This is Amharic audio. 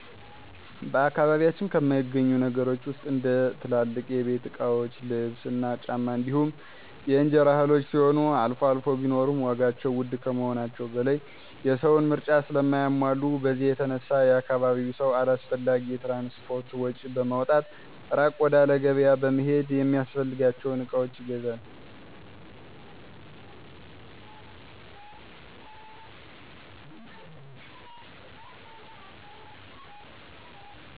በአካባቢያችን ከማይገኙ ነገሮች ውስጥ እንደ ትልልቅ የቤት እቃዎች ልብስ እና ጫማ እንዲሁም የእንጀራ እህሎች ሲሆኑ አልፎ አልፎ ቢኖሩም ዋጋቸው ውድ ከመሆናቸው በላይ የሰውን ምርጫ ስለማያሟሉ በዚህ የተነሳ የአካባቢው ሰው አላስፈላጊ የትራንስፖርት ወጭ በማውጣት እራቅ ወዳለ ገቢያ በመሄድ የሚፈልጋቸውን እቃዎች ይገዛል።